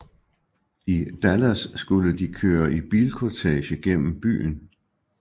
I Dallas skulle de køre i bilkortege gennem byen